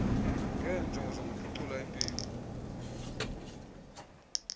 ngeenjongo zokuphucula impilo